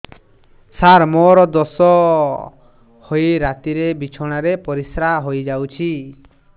ସାର ମୋର ଦୋଷ ହୋଇ ରାତିରେ ବିଛଣାରେ ପରିସ୍ରା ହୋଇ ଯାଉଛି